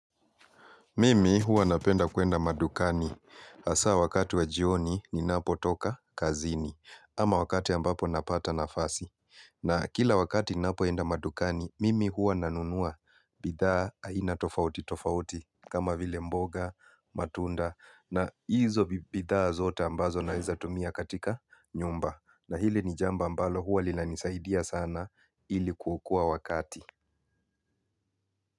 Mimi huwa napenda kuenda madukani hasa wakati wa jioni ninapo toka kazini ama wakati ambapo napata nafasi. Na kila wakati napo enda madukani, mimi huwa nanunua bidhaa aina tofauti tofauti kama vile mboga, matunda na hizo bidhaa zote ambazo naeza tumia katika nyumba. Na hile ni jambo ambalo huwa linanisaidia sana ili kuokoa wakati.